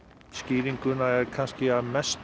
skýringuna er kannski að mestu